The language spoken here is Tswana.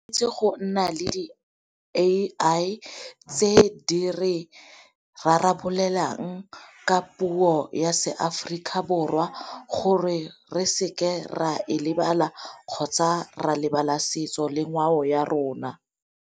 Itse go nna le di A_I tse di re rarabolelang ka puo ya seAforika Borwa gore re seke ra e lebala kgotsa ra lebala setso le ngwao ya rona.